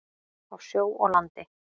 Á sjó og landi.